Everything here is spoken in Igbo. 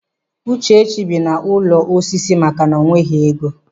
Uchechi bi n'ụlọ osisi maka na o nweghị ego.